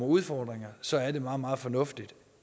udfordringer så er det meget meget fornuftigt